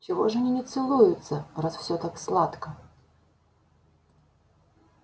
чего же они не целуются раз все так сладко